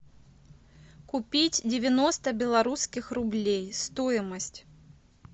купить девяносто белорусских рублей стоимость